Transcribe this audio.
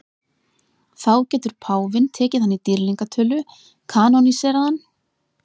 Þá getur páfinn tekið hann í dýrlingatölu, kanóníserað hann.